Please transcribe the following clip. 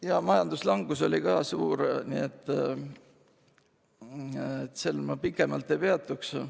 Ka majanduslangus oli suur, aga sellel ma pikemalt ei peatuks.